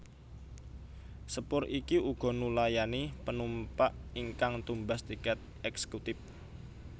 Sepur iki uga nulayani penumpak ingkang tumbas tiket eksèkutip